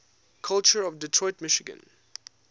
culture of detroit michigan